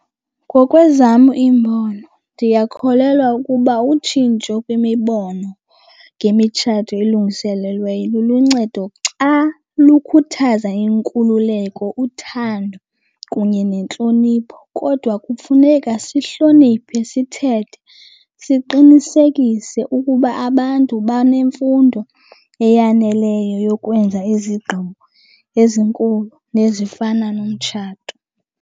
Ngokwezam iimbono ndiyakholelwa ukuba utshintsho kwimibono ngemitshato elungiselelweyo luluncedo xa lukhuthaza inkululeko, uthando kunye nentlonipho. Kodwa kufuneka sihloniphe isithethe, siqinisekise ukuba abantu banemfundo eyaneleyo yokwenza izigqibo ezinkulu nezifana nomtshato.